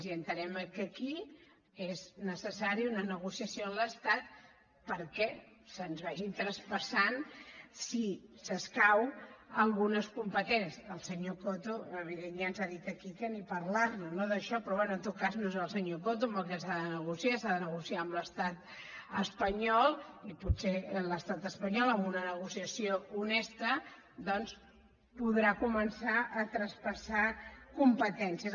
i entenem que aquí és necessària una negociació amb l’estat perquè se’ns vagin traspassant si s’escau algunes competències el senyor coto evident ja ens ha dit aquí que ni parlar ne no d’això però bé en tot cas no és el senyor coto amb qui s’ha de negociar s’ha de negociar amb l’estat espanyol i potser l’estat espanyol amb una negociació honesta doncs podrà començar a traspassar competències